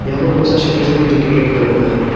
यहां पर बहुत सारे शटर्स भी है जोकि रेड कलर का है।